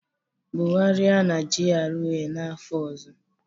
Bugharịa na GRA n'afọ ọzọ